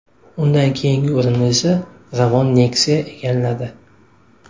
Undan keyingi o‘rinni esa Ravon Nexia egalladi.